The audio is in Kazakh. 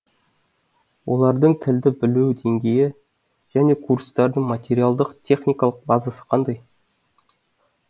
олардың тілді білу деңгейі және курстардың материалдық техникалық базасы қандай